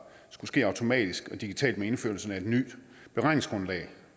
skulle ske automatisk og digitalt med indførelsen af et nyt beregningsgrundlag